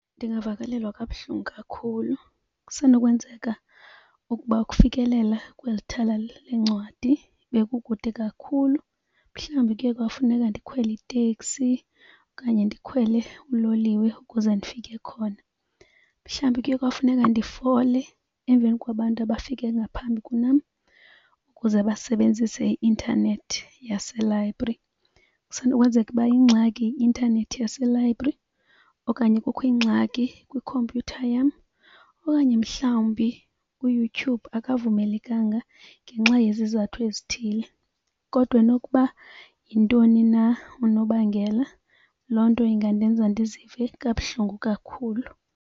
Ndingavakalelwa kabuhlungu kakhulu, kusenokwenzeka ukuba ukufikelela kweli thala lencwadi bekukude kakhulu, mhlawumbi kuye kwafuneka ndikhwele iteksi okanye ndikhwele uloliwe ukuze ndifike khona. Mhlawumbi kuye kwafuneka ndifole emveni kwabantu abafike ngaphambi kunam ukuze basebenzise i-intanethi yaselayibhri. Kusenokwenzeka ukuba yingxaki yi-intanethi yaselayibhri okanye kukho ingxaki kwikhompyutha yam okanye mhlawumbi uYouTube akavumelekanga ngenxa yezizathu ezithile. Kodwa nokuba yintoni na unobangela loo nto ingandenza ndizive kabuhlungu kakhulu.